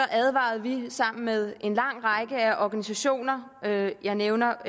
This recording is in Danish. advarede vi sammen med en lang række af organisationer jeg nævner